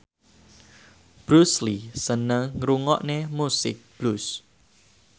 Bruce Lee seneng ngrungokne musik blues